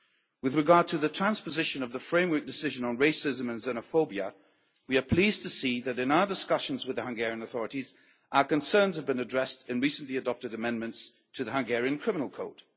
With regard to the transposition of the Framework Decision on Racism and Xenophobia, we are pleased to see that in our discussions with the Hungarian authorities our concerns have been addressed in recently adopted amendments to the Hungarian criminal code.